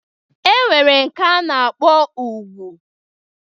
E nwere nke a na-akpọ ùgwù.